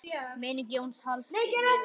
Minning Jóns Halls lifir.